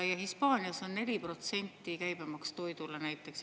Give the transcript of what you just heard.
Ja Hispaanias on 4% käibemaks toidule.